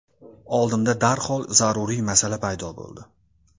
Oldimda darhol zaruriy masala paydo bo‘ldi.